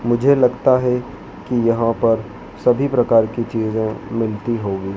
मुझे लगता है कि यहां पर सभी प्रकार की चीजें मिलती होगी।